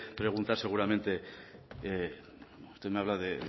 preguntar seguramente usted me habla de